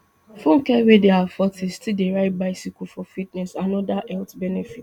funke wey dey her fortys still dey ride bicycle for fitness and oda health benefits